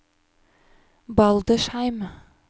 Baldersheim